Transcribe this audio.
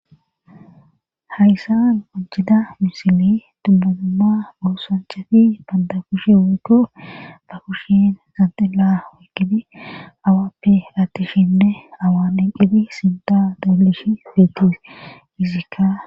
hayssan majjida misili dubmazumma boosanchati banda kushe weko ba kushen zanxilla wekgini awappe attishinne awaan eqqibi sinta doolishi feeti gizikka